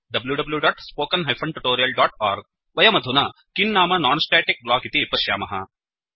wwwspoken tutorialओर्ग वयमधुना किं नाम नोन् स्टेटिक्ब्लोक् इति पश्यामः